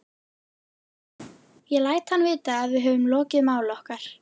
Ég læt hann vita, að við höfum lokið máli okkar.